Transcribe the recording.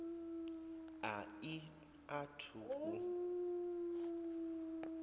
a i a thu u